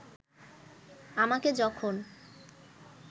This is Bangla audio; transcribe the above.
আমাকে যখন